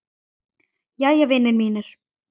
Jæja, vinir mínir.